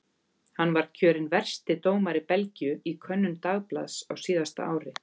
Hann var kjörinn versti dómari Belgíu í könnun dagblaðs á síðasta ári.